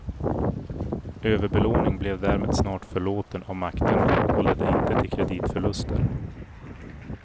Överbelåning blev därmed snart förlåten av makterna och ledde inte till kreditförluster.